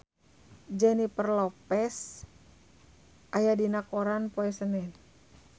Jennifer Lopez aya dina koran poe Senen